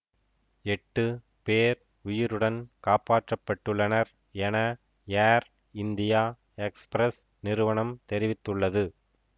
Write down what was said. எட்டு பேர் உயிருடன் காப்பாற்றப்பட்டுள்ளனர் என ஏர் இந்தியா எக்ஸ்பிரஸ் நிறுவனம் தெரிவித்துள்ளது